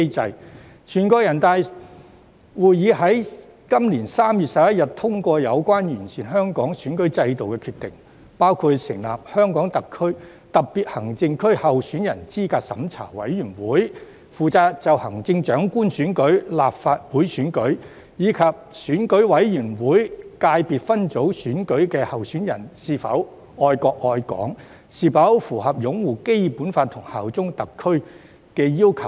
在今年3月11日，全國人大會議通過有關完善香港選舉制度的決定，包括成立香港特別行政區候選人資格審查委員會，負責審查行政長官選舉、立法會選舉及選舉委員會界別分組選舉的候選人是否愛國愛港，以及是否符合擁護《基本法》及效忠特區的要求。